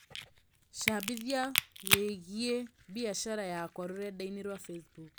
cambĩthĩa wĩĩgĩe bĩacara yakwa rũredaĩnĩ rwa Facebook